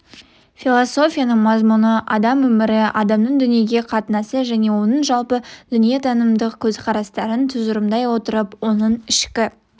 философияның мазмұны адам өмірі адамның дүниеге қатынасы және оның жалпы дүниетанымдық көзқарастарын тұжырымдай отырып оның ішкі